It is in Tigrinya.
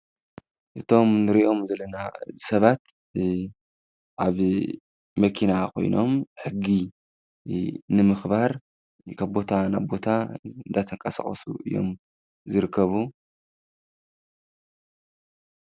እቶም እንሪኦም ዘለና ሰባት ኣብ መኪና ኮይኖም ሕጊ ንምኽባር ካብ ቦታ ናብ ቦታ እናተንቀሳቀሱ እዮም ዝረከቡ።